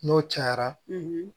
N'o cayara